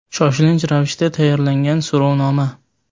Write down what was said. Shoshilinch ravishda tayyorlangan so‘rovnoma .